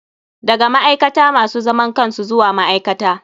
Daga ma'aikata masu zaman kansu zuwa ma'aikata.